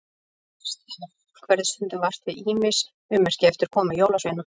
Heyrst hefur að fólk verði stundum vart við ýmis ummerki eftir komu jólasveina.